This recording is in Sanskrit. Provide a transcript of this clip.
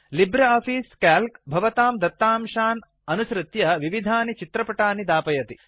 लिब्रे आफिस् क्याल्क् भवतां दत्तांशान् अनुसृत्य विविधानि चित्रपटानि दापयति